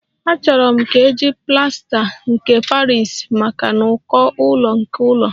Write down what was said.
Achọrọ m ka eji plasta nke Paris maka n'uko ụlọ nke ụlọ